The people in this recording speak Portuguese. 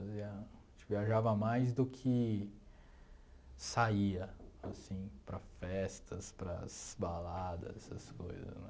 Fazia a gente viajava mais do que saía, assim, para as festas, para as baladas, essas coisa, né?